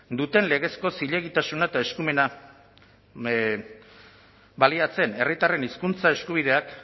duten legezko zilegitasuna eta eskumena baliatzen herritarren hizkuntza eskubideak